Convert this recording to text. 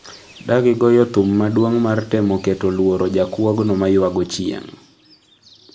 dagigoyo thum maduong' mar temo keto luoro jakuogno mayuago chieng'